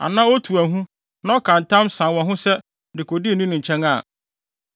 anaa otu ahu na ɔka ntam san wɔ ho se dekode no nni ne nkyɛn a,